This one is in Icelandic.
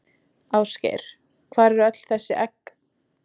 Ásgeir: Hvar voru öll þessi egg?